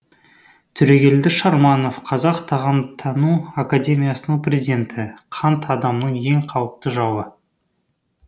төрегелді шарманов қазақ тағамтану академиясының президенті қант адамның ең қауіпті жауы